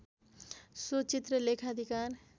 so चित्र लेखाधिकार